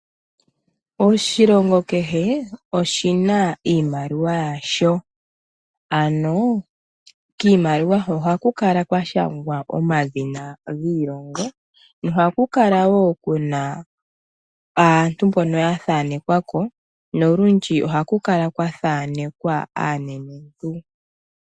Oshilongo kehe oshi na iimaliwa yasho. Ano, kiimaliwa ho ohaku kala kwa shangwa omadhina giilongo, ohaku kala wo ku na aantu mbono ya thanekwa ko nolundji ohaku kala kwa thanekwa aanenentu.